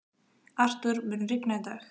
Artúr, mun rigna í dag?